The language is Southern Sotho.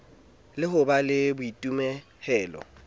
le ho ba le boitemohelo